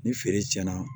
Ni feere cɛn na